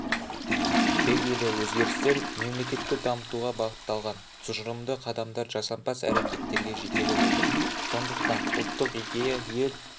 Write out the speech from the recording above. түбегейлі өзгерістер мемлекетті дамытуға бағытталған тұжырымды қадамдар жасампаз әрекеттерге жетелеп отыр сондықтан ұлттық идея ел